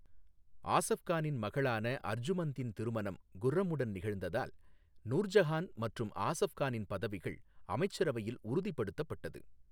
ஆசஃப் கானின் மகளான அர்ஜுமந்தின் திருமணம் குர்ரமுடன் நிகழ்ந்ததால் நூர்ஜஹான் மற்றும் ஆசஃப் கானின் பதவிகள் அமைச்சரவையில் உறுதிப்படுத்தப்பட்டது.